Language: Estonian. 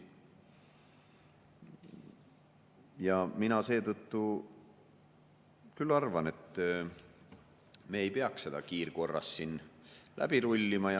Ja mina seetõttu küll arvan, et me ei peaks seda kiirkorras siin läbi rullima.